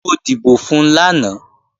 Mo dìbò fun lánàá